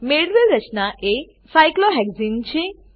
મેળવેલ રચના એ સાયક્લોહેક્સને છે